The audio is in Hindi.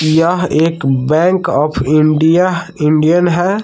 यह एक बैंक ऑफ इंडिया इंडियन है।